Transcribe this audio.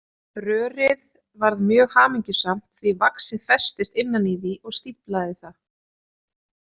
Rörið varð mjög hamingjusamt því vaxið festist innan í því og stíflaði það.